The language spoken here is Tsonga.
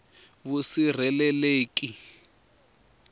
vusirheleleki